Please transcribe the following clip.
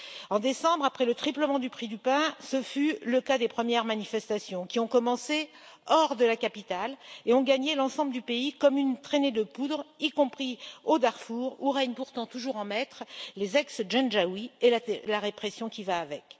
En décembre, après le triplement du prix du pain, les premières manifestations ont commencé hors de la capitale et ont gagné l'ensemble du pays comme une traînée de poudre, y compris au Darfour où règnent pourtant toujours en maître les ex janjawid et la répression qui va avec.